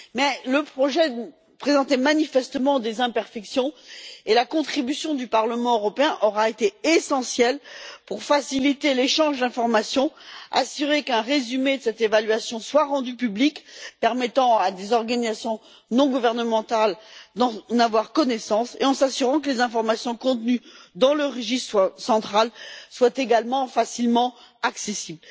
Mais le projet présentait manifestement des imperfections, et la contribution du Parlement européen aura été essentielle pour faciliter l'échange d'informations, s'assurer qu'un résumé de cette évaluation soit rendu public, de manière à permettre à des organisations non gouvernementales d'en avoir connaissance, et veiller à ce que les informations contenues dans le registre soient centrales et facilement accessibles.